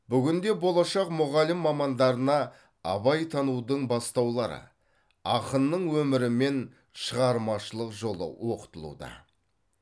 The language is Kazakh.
бүгінде болашақ мұғалім мамандарына абайтанудың бастаулары ақынның өмірі мен шығармашылық жолы оқытылуда